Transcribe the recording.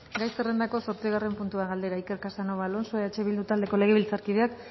gai zerrendako zortzigarren puntua galdera iker casanova alonso eh bildu taldeko legebiltzarkideak